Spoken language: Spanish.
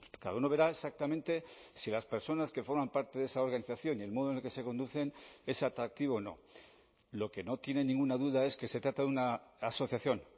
cada uno verá exactamente si las personas que forman parte de esa organización y el modo en el que se conducen es atractivo o no lo que no tiene ninguna duda es que se trata de una asociación